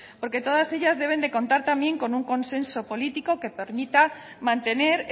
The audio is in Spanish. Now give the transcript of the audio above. porque todas ellas deben de contar también con un consenso político que permita mantener